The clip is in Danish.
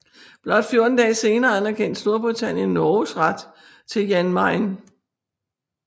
Blot 14 dage senere anerkendte Storbritannien Norges ret til Jan Mayen